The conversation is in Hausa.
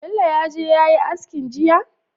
Bello yaje yayi askin jiya?